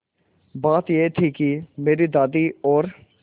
बात यह थी कि मेरी दादी और